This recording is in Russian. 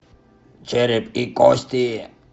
череп и кости